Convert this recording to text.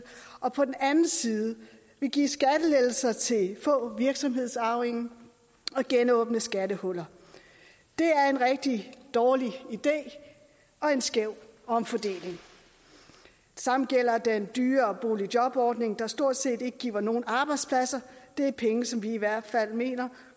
og på den anden side vil give skattelettelser til få virksomhedsarvinger og genåbne skattehuller det er en rigtig dårlig idé og en skæv omfordeling det samme gælder den dyre boligjobordning der stort set ikke giver nogle arbejdspladser det er penge som vi i hvert fald mener